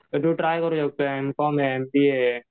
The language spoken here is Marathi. सगळं ट्राय करू शकतो एमकॉम आहे एमबीए आहे.